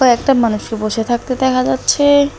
একটা মানুষকে বসে থাকতে দেখা যাচ্ছে।